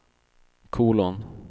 kolon